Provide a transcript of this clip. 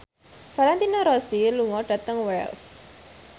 Valentino Rossi lunga dhateng Wells